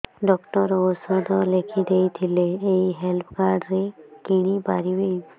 doctor ଔଷଧ ଲେଖିଦେଇଥିଲେ ଏଇ ହେଲ୍ଥ କାର୍ଡ ରେ କିଣିପାରିବି